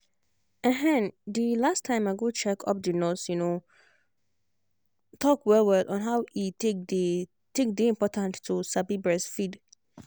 ehnnnthe last time i go check upthe nurse um talk well well on how e take day take day important to sabi breastfeed.